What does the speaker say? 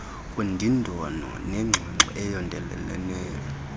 undindano nengxoxo eyondeleleneyo